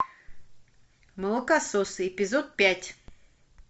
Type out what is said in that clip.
молокососы эпизод пять